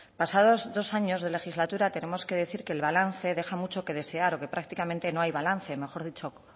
pasados dos años de legislatura tenemos que decir que el balance deja mucho que desear o que prácticamente no hay balance mejor dicho